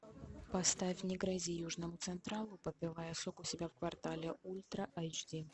поставь не грози южному централу попивая сок у себя в квартале ультра айч ди